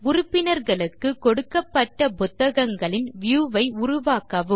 உறுப்பினர்களுக்கு கொடுக்கப்பட்ட புத்தகங்களின் வியூ ஐ உருவாக்கவும்